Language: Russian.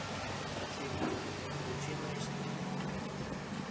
афина утиные истории